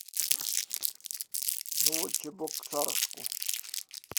новочебоксарску